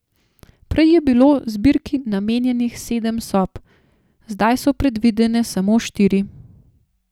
Prej je bilo zbirki namenjenih sedem sob, zdaj so predvidene samo štiri.